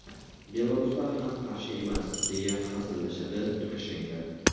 Belaruslar ham qarshi emas”, deya hazillashadi Lukashenko.